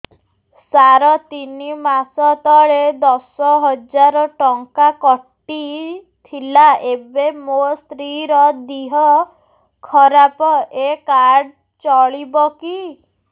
ସାର ତିନି ମାସ ତଳେ ଦଶ ହଜାର ଟଙ୍କା କଟି ଥିଲା ଏବେ ମୋ ସ୍ତ୍ରୀ ର ଦିହ ଖରାପ ଏ କାର୍ଡ ଚଳିବକି